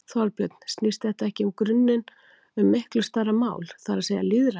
Þorbjörn: Snýst þetta ekki í grunninn um miklu stærra mál, það er að segja lýðræði?